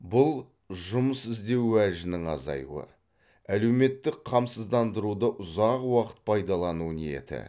бұл жұмыс іздеу уәжінің азаюы әлеуметтік қамсыздандыруды ұзақ уақыт пайдалану ниеті